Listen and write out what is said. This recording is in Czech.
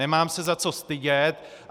Nemám se za co stydět.